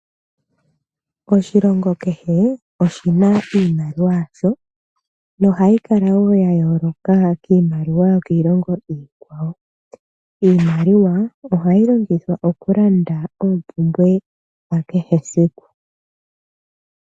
Oshilongo kehe oshina iimaliwa yasho, nohayi kala woo ya yooloka kiimaliwa yo kiilonga iikwawo. Iimaliwa ohayi longithwa okulanda oompumbwe dha kehe siku.